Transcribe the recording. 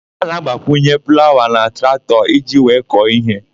A na-agbakwunye plawa na traktọ iji wee kọọ íhé.